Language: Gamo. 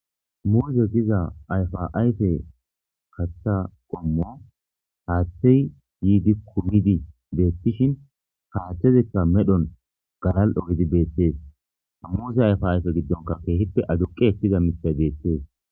Muuze giiza ayffa ayfe kaththa qommo haththey yiidi kummidi bettishin ha haththezika medhdhon galal'o giididi bettes ha muuza ayfa ayfe gidonkka kehippe aduqqi ekkiza miththay bettes.